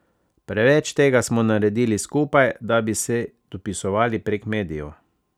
Preveč tega smo naredili skupaj, da bi se dopisovali prek medijev.